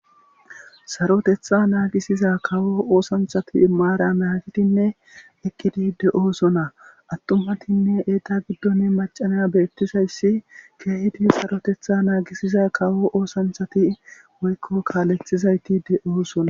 sarotetha naagisiza kawo oosanchati maara naagidinne eqqidi de7o sona attumatinne eeta giddone macanaya beettizayssi keehidi sarotetha naagisiza kawo oosanthati woykko kaalethizayti de7oosona